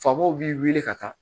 Faamaw b'i wele ka taa